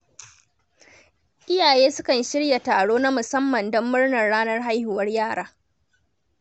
Iyaye sukan shirya taro na musamman don murnar ranar haihuwar yara.